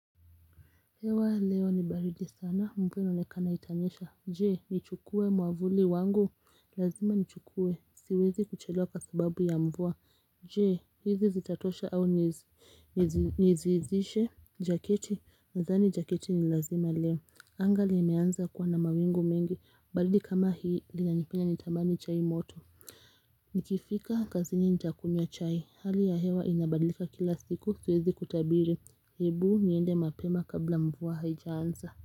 Hewa leo ni baridi sana mvua inaonekana itanyesha jee nichukue mwavuli wangu lazima ni chukue siwezi kuchelewa kwa sababu ya mvuwa jee hizi zitatosha au niziizishe jaketi nadhani jaketi ni lazima leo Anga limeanza kuwa na mawingu mengi baridi kama hii inanipea nitamani chai moto Nikifika kazini nitakunywa chai. Hali ya hewa inabadlika kila siku siwezi kutabiri. Hebu niende mapema kabla mvua haijaansa.